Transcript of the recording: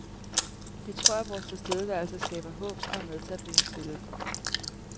Vi tror, at vores tilstedeværelse skaber håb og er med til at opbygge tillid.